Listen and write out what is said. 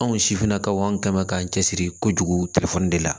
Anw sifinnakaw kama k'an cɛsiri kojugu de la